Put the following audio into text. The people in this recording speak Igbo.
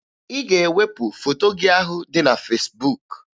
Ị ga-ewepụ foto gị ahụ dị na Fesbuk!